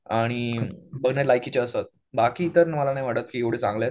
आणि बघण्या लायकीची असतात. बाकी इतर मला नाही वाटत एवढे चांगले आहेत.